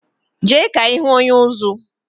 Je ka ihu onye-uzú